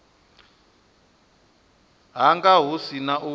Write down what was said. hanga hu si na u